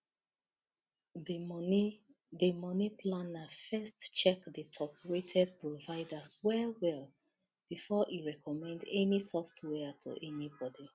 the money the money planner first check the toprated providers well well before e recommend any software to anybody